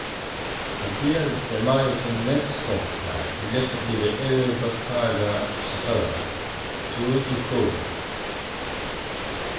Haddii aad isticmaalayso Netscopka lix dibic eber Barkaaga shaqada tuji: kow